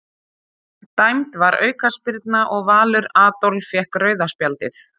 Dæmd var aukaspyrna og Valur Adolf fékk rauða spjaldið.